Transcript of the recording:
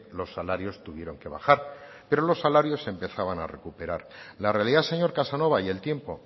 los salarios tuvieron que bajar pero los salarios se empezaban a recuperar la realidad señor casanova y el tiempo